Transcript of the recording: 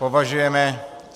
Považujeme -